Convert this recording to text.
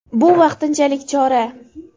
Bu vaqtinchalik chora.